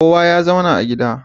Kowa ya zauna a gida